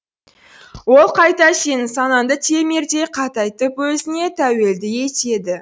ол қайта сенің санаңды темірдей қатайтып өзіне тәуелді етеді